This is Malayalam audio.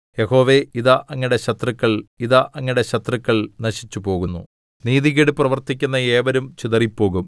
യഹോവേ ഇതാ അങ്ങയുടെ ശത്രുക്കൾ ഇതാ അങ്ങയുടെ ശത്രുക്കൾ നശിച്ചുപോകുന്നു നീതികേട് പ്രവർത്തിക്കുന്ന ഏവരും ചിതറിപ്പോകും